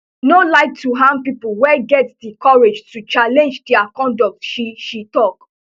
no like to harm pipo wey get di courage to challenge dia conduct she she tok